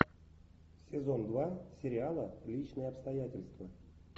сезон два сериала личные обстоятельства